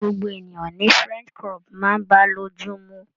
Gbogbo ènìyàn ni french crop máa ń bá lójú mu.